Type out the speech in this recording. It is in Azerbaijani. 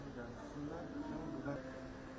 Təbii, burda.